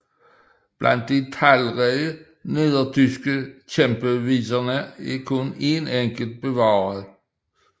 Blandt de talrige nedertyske kæmpeviser er kun en enkelt bevaret